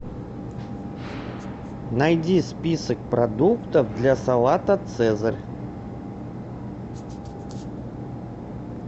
найди список продуктов для салата цезарь